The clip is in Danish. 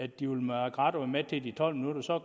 de ville makke ret og være med til de tolv minutter så